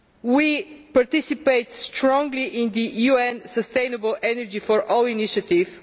We participate strongly in the UN Sustainable Energy for All initiative.